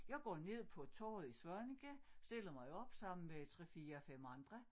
Jeg går ned på torvet i Svaneke stiller mig op med 3 4 5 andre